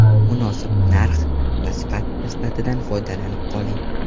Munosib narx va sifat nisbatidan foydalanib qoling.